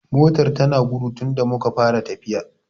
Motar ta na gudu tunda muka fara tafiya